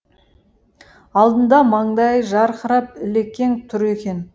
алдында маңдайы жарқырап ілекең тұр екен